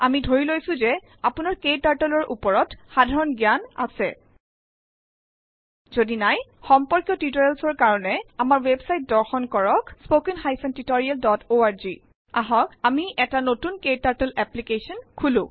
আমি ধৰিলৈছো যে আপোনাৰ ক্টাৰ্টল ৰ ওপৰত সাধাৰণ জ্ঞান আেছ । যদি নাই সম্পৰ্কীয় টিউটৰিয়েলচৰ কাৰেন আমাৰ ৱেবচাইত দৰ্শন কৰক httpspoken tutorialorg আহক আমি এটা নতুন ক্টাৰ্টল এপলিকেছন খোলো